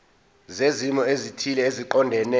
zezimo ezithile eziqondene